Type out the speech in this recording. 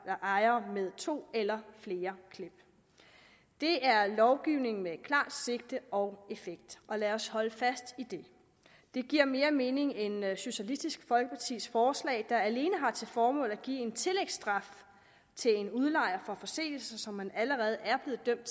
ejere med to eller flere klip det er lovgivning med et klart sigte og en effekt og lad os holde fast i det det giver mere mening end socialistisk folkepartis forslag der alene har til formål at give en tillægsstraf til en udlejer for forseelser som man allerede er blevet dømt